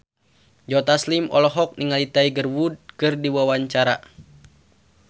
Joe Taslim olohok ningali Tiger Wood keur diwawancara